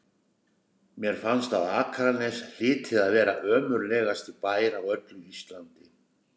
Mér fannst að Akranes hlyti að vera ömurlegasti bær á öllu Íslandi.